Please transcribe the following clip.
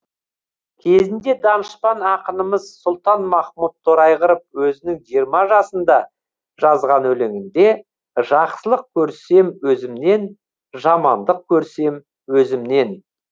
кезінде данышпан ақынымыз сұлтанмахмұт торайғыров өзінің жиырма жасында жазған өлеңінде жақсылық көрсем өзімнен жамандық көрсем өзімнен